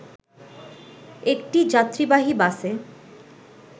একটি যাত্রীবাহী বাসে